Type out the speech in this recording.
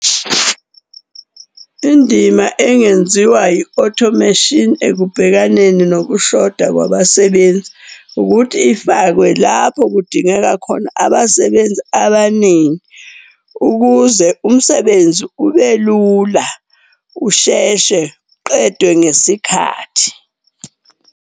Indima engenziwa i-automation ekubhekaneni nokushoda kwabasebenzi, ukuthi ifakwe lapho kudingeka khona abasebenzi abaningi. Ukuze umsebenzi ubelula, usheshe, uqedwe ngesikhathi.